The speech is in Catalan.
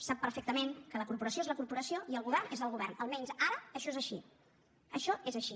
sap perfectament que la corporació és la corporació i el govern és el govern almenys ara això és així això és així